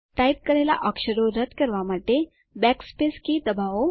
type કરેલા અક્ષરો રદ કરવા માટે બેકસ્પેસ કી દબાવો